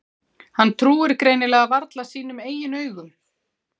Hann trúir greinilega varla sínum eigin augum.